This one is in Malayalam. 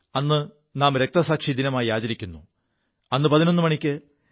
അ് നാം രക്തസാക്ഷി ദിനമായി ആചരിക്കുു